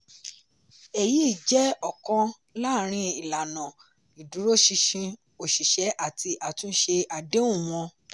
èyí jẹ́ ọ̀kan lárin ìlànà ìdúróṣinṣin oṣìṣẹ́ àti àtúnṣe àdéhùn wọn.